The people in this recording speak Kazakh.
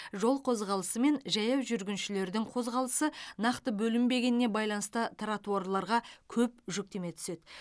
жол қозғалысы мен жаяу жүргіншілердің қозғалысы нақты бөлінбегеніне байланысты тротуарларға көп жүктеме түседі